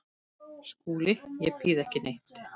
SKÚLI: Ég býð ekki neitt.